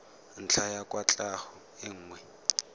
ntlha ya kwatlhao e nngwe